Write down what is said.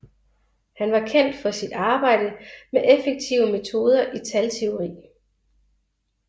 Han var kendt for sit arbejde med effektive metoder i talteori